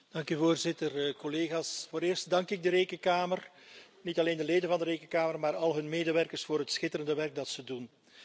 Dank u, Voorzitter. Collega's, vooreerst dank ik de Rekenkamer niet alleen de leden van de Rekenkamer, maar al hun medewerkers voor het schitterende werk dat ze doen.